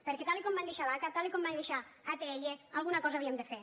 perquè tal com van deixar l’aca tal com van deixar atll alguna cosa havíem de fer